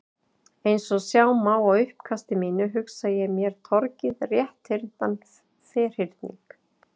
Eins og sjá má á uppkasti mínu, hugsa ég mér torgið rétthyrndan ferhyrning.